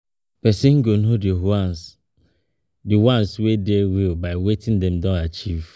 As nobody dey perfect [ehn]and our role models na human beings oh with dia own strengths and weaknesses.